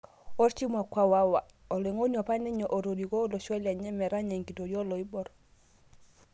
Orchif mMkwawa; Oloing'oni apaninye otoriko olosho lenye metanya enkitoria oloibor